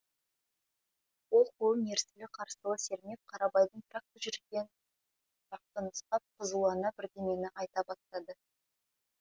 ол қолын ерсілі қарсылы сермеп қарабайдың тракторы жүрген жақты нұсқап қызулана бірдемені айта бастады